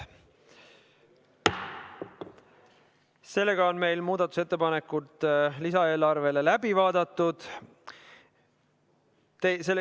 Sellega on meil muudatusettepanekud lisaeelarve kohta läbi vaadatud.